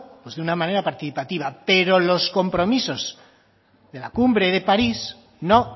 de una manera participativa pero los compromisos de la cumbre de parís no